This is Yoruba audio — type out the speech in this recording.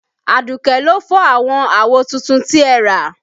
Aduke ló fọ́ àwọn àwo tuntun tí ẹ rà